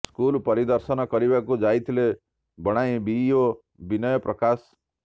school ପରିଦର୍ଶନ କରିବାକୁ ଯାଇଥିଲେ ବଣାଇ ବିଇଓ ବିନୟ ପ୍ରକାଶ